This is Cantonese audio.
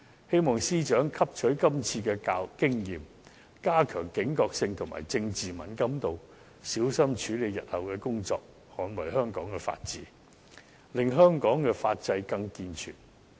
希望司長汲取今次經驗，加強警覺性及政治敏感度，小心處理日後的工作，捍衞香港法治，令香港法制更健全。